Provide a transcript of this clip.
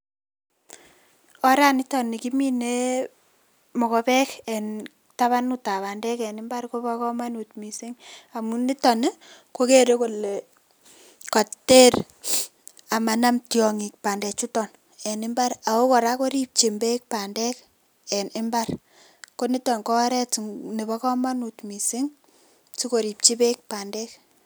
Oranito nikimine mokobek en tabanutab bandeek en imbar kobo komonut misink, amun niton ii kokere kole koter amanam tiongik bandechuton en imbar ako koraa koribjin beek bandeek en imbar koniton kooret nebo komonut misink sikoribjii beek bandeek.